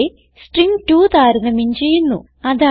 ഇവിടെ സ്ട്രിംഗ്2 താരതമ്യം ചെയ്യുന്നു